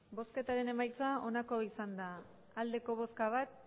hirurogeita hamar eman dugu bozka bat